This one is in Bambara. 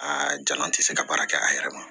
Aa jaa n tɛ se ka baara kɛ a yɛrɛ ma